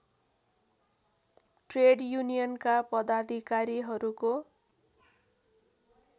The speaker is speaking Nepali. ट्रेड युनियनका पदाधिकारीहरूको